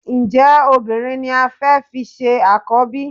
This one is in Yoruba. Ǹjẹ́ obìnrin ni o fẹ́ fi ṣe àkọ́bí?